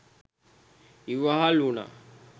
ඉවහල් වුණා.